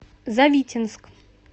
завитинск